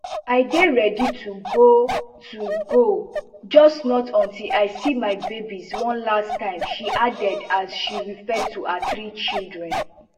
i dey ready to go to go just not until i see my babies one last timeshe add as she refer to her three children